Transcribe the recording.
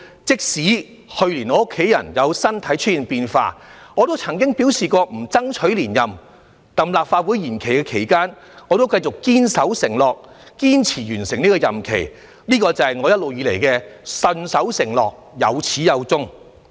即使去年我家人身體出現變化，我亦曾表示不會爭取連任，但在立法會延長任期期間，我繼續堅守承諾，堅持完成整個任期，這便是我一直以來信守的承諾，有始有終。